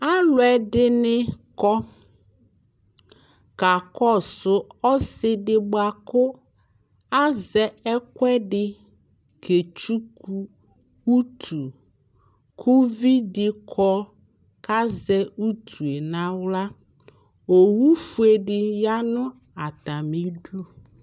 aluɛ dini kɔ ka kɔ su ɔsi ɖi bua ku azɛ ɛkuɛ ɖi ke tchuku utu k' uvidi kɔ ku azɛ utue n'aɣla owu fue di ya nu ata mi du